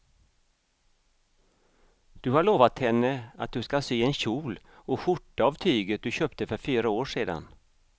Du har lovat henne att du ska sy en kjol och skjorta av tyget du köpte för fyra år sedan.